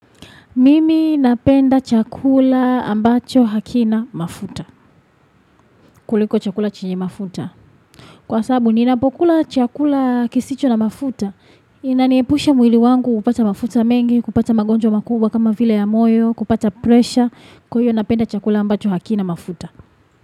Mimi napenda chakula ambacho hakina mafuta. Kuliko chakula chenye mafuta. Kwa sababu, ninapokula chakula kisicho na mafuta. Inaniepusha mwili wangu kupata mafuta mengi, kupata magonjwa makubwa kama vile ya moyo, kupata presha. Kwahiyo napenda chakula ambacho hakina mafuta.